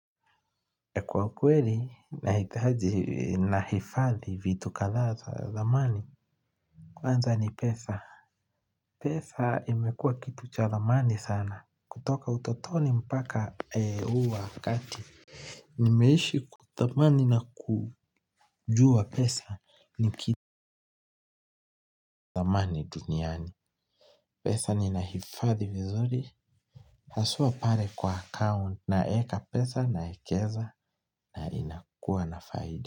Kwa kweli nahitaji kuhifadhi vitu kadhaa zamani. Kwanza ni pesa. Pesa imekuwa kitu cha thamani sana kutoka utotoni mpaka huu wakati. Nimeishi kutamani na kujua pesa ni kitu cha thamani duniani. Pesa nina hifadhi vizuri hasa pale kwa akaunti na kuweka pesa na kuwekeza na inakuwa na faida.